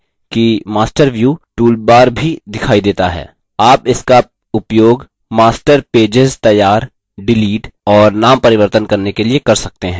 ध्यान दें कि master view toolbar भी दिखाई देंता है आप इसका उपयोग master pages तैयार डिलीट और नाम परिवर्तन करने के लिए कर सकते हैं